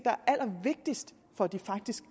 er allervigtigst for at de faktisk